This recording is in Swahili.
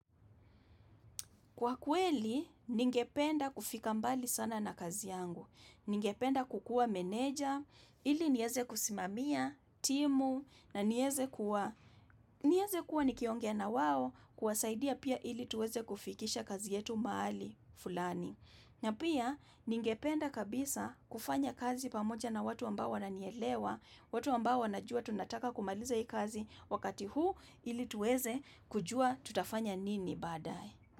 Kwa kweli, ningependa kufika mbali sana na kazi yangu, ningependa kukua meneja, ili nieze kusimamia, timu, na nieze kuwa, nieze kuwa nikiongea na wao kwasaidia pia ili tuweze kufikisha kazi yetu mahali, fulani. Na pia, ningependa kabisa kufanya kazi pamoja na watu ambao wananielewa, watu ambao wanajua tunataka kumaliza hii kazi wakati huu ili tuweze kujua tutafanya nini baadaye.